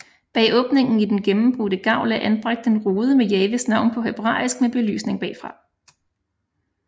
Bag åbningen i den gennembrudte gavl er anbragt en rude med Jahves navn på hebræisk med belysning bagfra